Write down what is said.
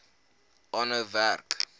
aanhou werk